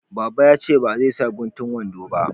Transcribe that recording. Baba ya ce ba zai sa guntun wando ba